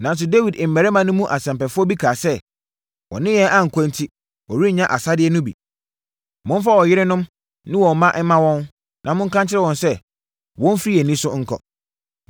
Nanso, Dawid mmarima no mu asɛmpɛfoɔ bi kaa sɛ, “Wɔne yɛn ankɔ enti, wɔrennya asadeɛ no bi. Momfa wɔn yerenom ne wɔn mma mma wɔn, na monka nkyerɛ wɔn sɛ, wɔmfiri yɛn ani so nkɔ.”